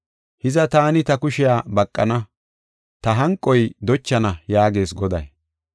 Hiza Taani ta kushiya baqana; ta hanqoy dochana” yaagees Goday.